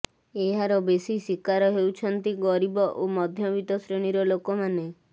ଏହାର ବେଶି ଶିକାର ହେଉଛନ୍ତି ଗରିବ ଓ ମଧ୍ୟବିତ୍ତ ଶ୍ରେଣୀର ଲୋକମାନେ